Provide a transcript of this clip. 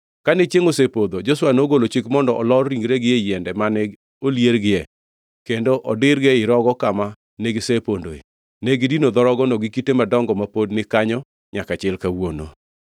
Kane chiengʼ osepodho, Joshua nogolo chik mondo olor ringregi e yiende mane oliergie kendo odirgi e rogo kama negisepondoe. Negidino dho rogono gi kite madongo, ma pod ni kanyo nyaka chil kawuono.